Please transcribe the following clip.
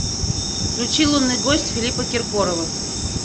включи лунный гость филиппа киркорова